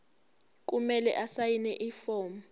kumele asayine ifomu